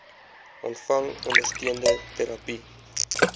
ontvang ondersteunende terapie